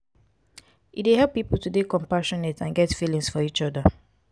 e dey help pipo to dey compassionate and get feelings for each oda